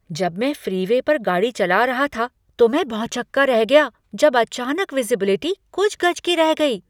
जब मैं फ्रीवे पर गाड़ी चला रहा था तो मैं भौचक्का रह गया जब अचानक विज़िबिलिटी कुछ गज की रह गई।